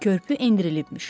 Körpü endirilibmiş.